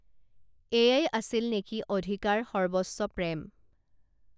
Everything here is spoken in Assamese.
এয়াই আছিল নেকি অধিকাৰ সৰ্বস্ব প্ৰেম